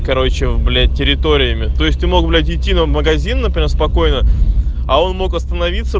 короче блять территориями то есть ты мог гулять идти в магазин а потом спокойно а он мог остановится